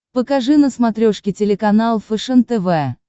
покажи на смотрешке телеканал фэшен тв